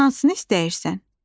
Hansını istəyirsən?